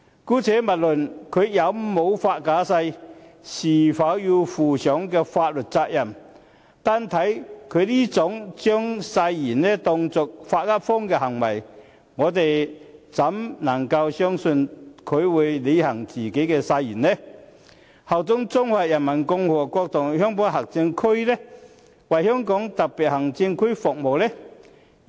姑勿論他有否發假誓及是否需要負上法律責任，單看他這種將誓言當作"發噏風"的行為，我們還怎能相信他會履行自己的誓言，效忠中華人民共和國香港特別行政區，以及為香港特別行政區服務呢？